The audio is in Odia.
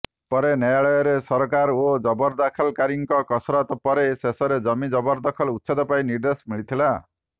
ପରେ ନ୍ୟାୟାଳୟରେ ସରକାର ଓ ଜବରଦଖଲକାରୀଙ୍କ କସରତ ପରେ ଶେଷରେ ଜମି ଜବରଦଖଲ ଉଚ୍ଛେଦ ପାଇଁ ନିର୍ଦ୍ଦେଶ ମିଳିଥିଲା